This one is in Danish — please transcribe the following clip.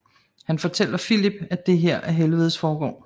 Han fortæller Filip at det her er helvedes forgård